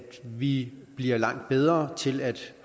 vi bliver langt bedre til at